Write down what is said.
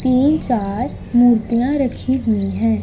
तीन चार मूर्तियां रखी हुई है।